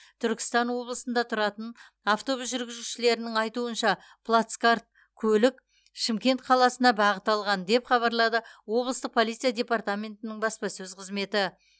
түркістан облысында тұратын автобус жүргізушілерінің айтуынша плацкарт көлік шымкент қаласына бағыт алған деп хабарлады облыстық полиция департаментінің баспасөз қызметі